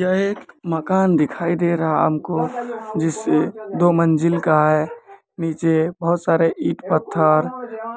यह एक मकान दिखाई दे रहा हमको जिसे दो मंजिल का है नीचे बहुत सारे ईट पत्थर